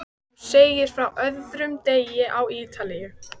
Nú segir frá öðrum degi á Ítalíu.